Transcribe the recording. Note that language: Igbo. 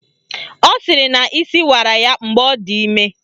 Ọ sịrị na isi wara ya mgbe ọ dị ime